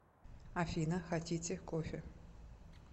афина хотите кофе